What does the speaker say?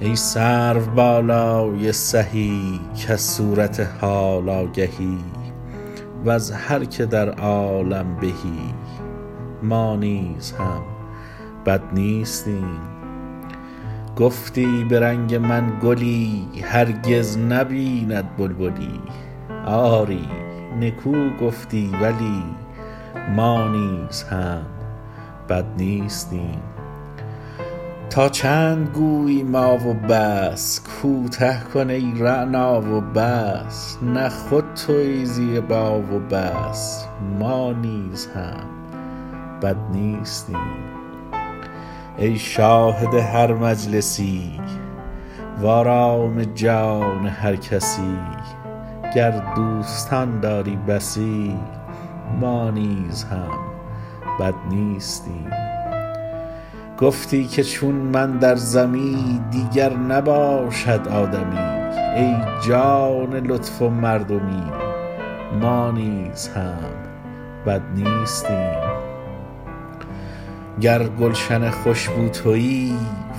ای سروبالای سهی کز صورت حال آگهی وز هر که در عالم بهی ما نیز هم بد نیستیم گفتی به رنگ من گلی هرگز نبیند بلبلی آری نکو گفتی ولی ما نیز هم بد نیستیم تا چند گویی ما و بس کوته کن ای رعنا و بس نه خود تویی زیبا و بس ما نیز هم بد نیستیم ای شاهد هر مجلسی وآرام جان هر کسی گر دوستان داری بسی ما نیز هم بد نیستیم گفتی که چون من در زمی دیگر نباشد آدمی ای جان لطف و مردمی ما نیز هم بد نیستیم گر گلشن خوش بو تویی